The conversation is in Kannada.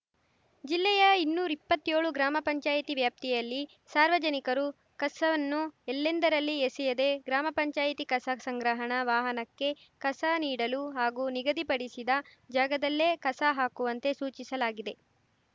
ಜಿಲ್ಲೆಯ ಇನ್ನೂರ್ ಇಪ್ಪತ್ತೇಳು ಗ್ರಾಮ ಪಂಚಾಯತಿ ವ್ಯಾಪ್ತಿಯಲ್ಲಿ ಸಾರ್ವಜನಿಕರು ಕಸವನ್ನು ಎಲ್ಲೆಂದರಲ್ಲಿ ಎಸೆಯದೇ ಗ್ರಾಮ ಪಂಚಾಯತಿ ಕಸ ಸಂಗ್ರಹಣ ವಾಹನಕ್ಕೇ ಕಸ ನೀಡಲು ಹಾಗೂ ನಿಗಧಿಪಡಿಸಿದ ಜಾಗದಲ್ಲೆ ಕಸ ಹಾಕುವಂತೆ ಸೂಚಿಸಲಾಗಿದೆ